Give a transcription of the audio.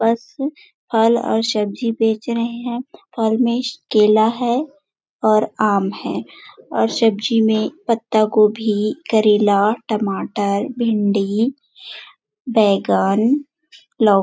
बस फल और सब्जी बेच रहे है फल में केला है और आम है और सब्जी में पत्ता गोभी करेला टमाटर भिन्डी बैगन लौ --